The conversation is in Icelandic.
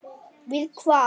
Við hvað?